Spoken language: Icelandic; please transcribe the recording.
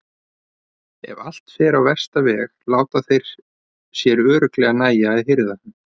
En ef allt fer á versta veg láta þeir sér örugglega nægja að hirða hann.